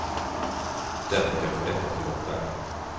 Därför kanske detta kommer att bära.